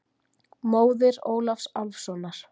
Móðir Ólafs Álfssonar.